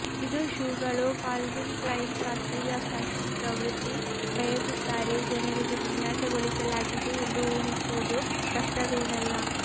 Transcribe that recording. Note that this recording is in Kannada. ಇದು ಶೂಗಳು ಕಾಲ್ವಿನ್ ಕ್ಲೈನ್ ಶಾಸ್ತ್ರೀಯ ಫ್ಯಾಷನ್ ಪ್ರವೃತ್ತಿ ಬಯಸುತ್ತಾರೆ ಜನರಿಗೆ ವಿನ್ಯಾಸಗೊಳಿಸಲಾಗಿದೆ ಎಂದು ಊಹಿಸುವುದು ಕಷ್ಟವೇನಲ್ಲ